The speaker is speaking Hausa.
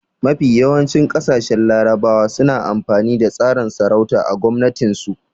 Mafi yawancin ƙasashen larabawa suna amfani da tsarin sarauta a gwamnatin su